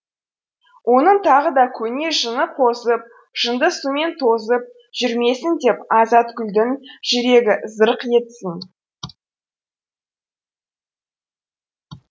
оның тағы да көне жыны қозып жынды сумен тозып жүрмесін деп азатгүлдің жүрегі зырқ етсін